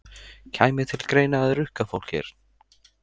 Kæmi til greina að rukka fólk hér?